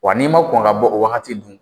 Wa ni ma kɔn ka bɔ o wagati dun